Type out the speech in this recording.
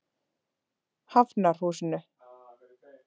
Hafnarhúsinu